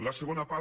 la segona part